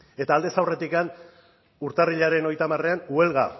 eta aldez aurretik urtarrilaren hogeita hamarean huelga